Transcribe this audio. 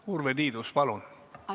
Urve Tiidus, palun!